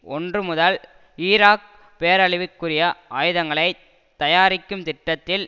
ஒன்று முதல் ஈராக் பேரழிவிற்குரிய ஆயுதங்களை தயாரிக்கும் திட்டத்தில்